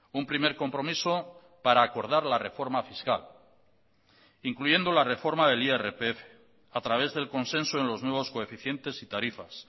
un primer compromiso para acordar la reforma fiscal incluyendo la reforma del irpf a través del consenso en los nuevos coeficientes y tarifas